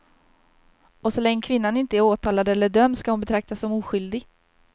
Och så länge kvinnan inte är åtalad eller dömd ska hon betraktas som oskyldig.